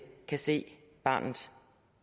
kan se barnet